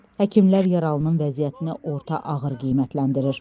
Həkimlər yaralının vəziyyətini orta ağır qiymətləndirir.